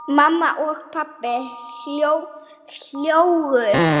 Mamma og pabbi hlógu.